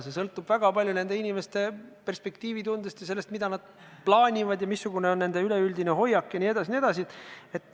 Kõik sõltub väga palju inimeste perspektiivitundest ja sellest, mida nad plaanivad, missugune on nende üleüldine hoiak jne, jne.